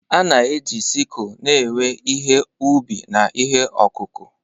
A na-eji sikul na-ewe ihe ubi na ihe ọkụkụ.